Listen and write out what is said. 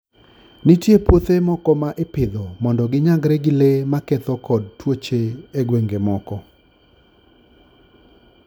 Nitie puothe moko ma ipidho mondo ginyagre gi le maketho kod tuoche e gwenge moko.